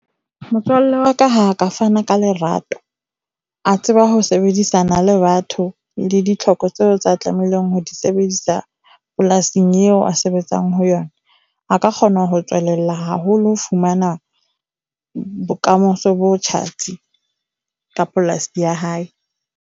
Motswalle wa ka ha a ka fana ka lerato, a tseba ho sebedisana le batho le ditlhoko tseo tsa tlamehileng ho di sebedisa polasing eo a sebetsang ho yona a ka kgona ho tswelella haholo ho fumana bokamoso bo tjhatsi ka polasi ya hae.